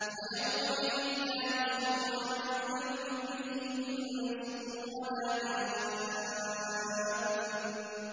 فَيَوْمَئِذٍ لَّا يُسْأَلُ عَن ذَنبِهِ إِنسٌ وَلَا جَانٌّ